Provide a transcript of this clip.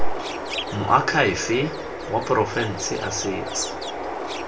moakhaefe wa porofense a setse